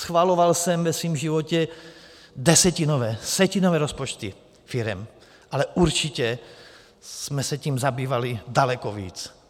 Schvaloval jsem ve svém životě desetinové, setinové rozpočty firem, ale určitě jsme se tím zabývali daleko víc.